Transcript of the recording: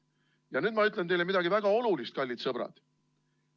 Ja nüüd ma ütlen teile midagi väga olulist, kallid sõbrad.